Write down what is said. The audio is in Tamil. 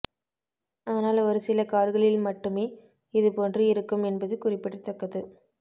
ஆனால் ஒரு சில கார்களில் மட்டுமே இதுபோன்று இருக்கும் என்பது குறிப்பிடத்தக்கது